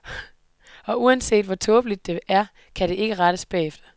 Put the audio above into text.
Og uanset, hvor tåbeligt det er, kan det ikke rettes bagefter.